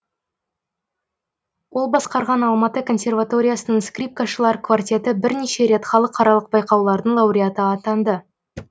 ол басқарған алматы консерваториясының скрипкашылар квартеті бірнеше рет халықаралық байқаулардың лауреаты атанды